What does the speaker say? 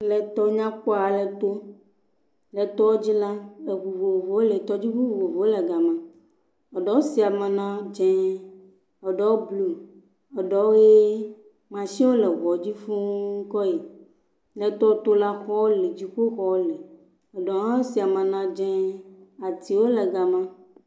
Le tɔ nyakpɔ ale gbɔ. Le tɔa dzi la, eŋu vovovowo, tɔdziŋu vovovowo le gama. Eɖewo si ama na dzẽee, eɖewo bluu, eɖewo ʋee. Mashiniwo le ŋuwo dzi fũu uke yi. Le tɔtola, xɔwo le, dziƒoxɔwo le. Eɖewo hã si ama na dzẽẽee. Atiwo le gama.